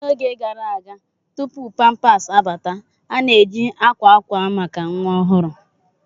N'oge gara aga tupu pamper abata, a na-eji akwa akwa maka nwa ọhụrụ.